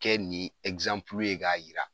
Kɛ ni ye k'a yira.